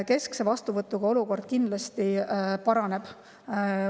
Keskse vastuvõtuga olukord kindlasti paraneb.